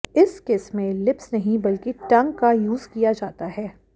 इस किस में लिप्स नहीं बल्कि टंग का यूज़ किया जाता है